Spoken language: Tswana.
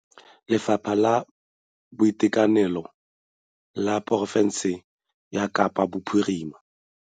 Lefapha la Boitekanelo la porofense ya Kapa Bophirima.